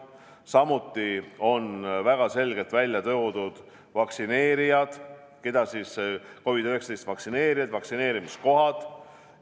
Samuti on väga selgelt ära toodud vaktsineerijad ja COVID-19 vastu vaktsineerimise kohad.